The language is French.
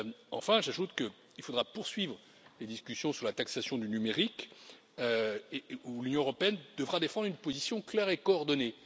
Enfin, j'ajoute qu'il faudra poursuivre les discussions sur la taxation du numérique, où l'Union européenne devra défendre une position claire et coordonnée.